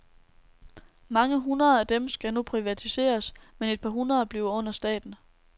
Mange hundrede af dem skal nu privatiseres, men et par hundrede bliver under staten.